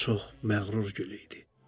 O çox məğrur gül idi.